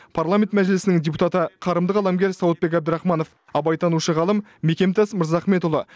парламент мәжілісінің депутаты қарымды қаламгер сауытбек әбдірахманов абайтанушы ғалым мекемтас мырзахметұлы